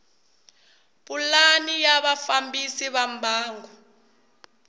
pulani ya vafambisi va mbangu